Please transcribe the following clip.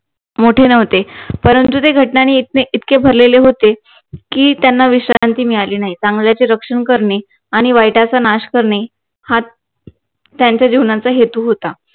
मोठे नव्हते परंतु ते घटनांनी ते इतके भरलेले होते की त्यांना विश्रांती मिळाली नाही चांगल्याचे रक्षण करणे आणि वाईटाचा नाश करणे हा त्यांच्या जीवनाचा हेतू होता